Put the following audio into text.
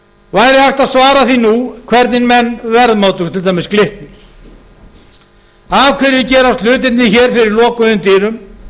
hægt að svara því nú hvernig menn verðmátu til dæmis glitni af hverju gerast hlutirnir hér fyrir lokuðum dyrum